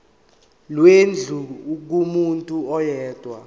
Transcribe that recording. lwendlu kumuntu oyedwa